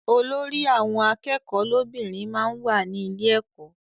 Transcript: Olórí àwọn akẹ́kọ̀ọ́ lóbìnrin máa ń wà ní ilé ẹkọ.